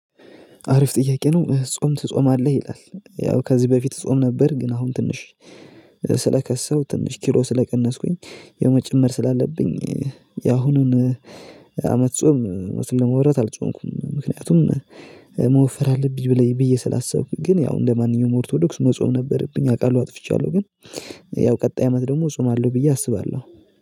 አሪፍ ጥያቄ ነው ጾም ትጾማለህ ይላል? ያው ከዚህ በፊት ጾም ነበር ግን አሁን ትንሽ ስለከሳሁ ትንሽ ኪሎ ስለቀነስኩኝ። የመጨመር ስላለብኝ የአሁኑን አመት ጾም እዉነቱን ለማዉራት አልጾምኩም። ምክንያቱም መወፈር አለብኝ ብለኝ ብዬ ስላሰብኩኝ። ግን ያው እንደማንኛውም ኦርቶዶክስ መጾም ነበረብኝ አውቃለሁ። አጥፍቻለሁ ግን ያው ቀጣይ አመት ደግሞ ጾም አለው ብዬ አስባለሁ